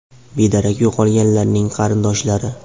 Bedarak yo‘qolganlarning qarindoshlari.